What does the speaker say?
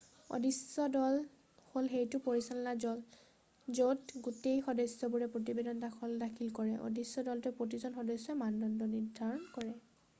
"""অদৃশ্য দল" হ'ল সেইটো পৰিচালন দল য'ত গোটেই সদস্যবোৰে প্ৰতিবেদন দাখিল কৰে। অদৃশ্য দলটোৱে প্ৰতিজন সদস্যৰ মানদণ্ড নিৰ্ধাৰণ কৰে।""